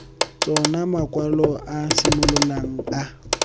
tsona makwalo a simololang a